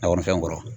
Lakɔlifɛnw kɔrɔ